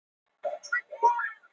Ferlið sé því frekar þunglamalegt